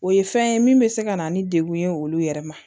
O ye fɛn ye min bɛ se ka na ni degun ye olu yɛrɛ ma